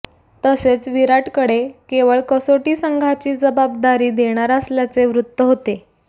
तसेच विराटकडे केवळ कसोटी संघाची जबाबदारी देणार असल्याचे वृत्त होते